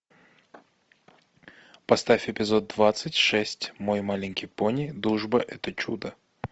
поставь эпизод двадцать шесть мой маленький пони дружба это чудо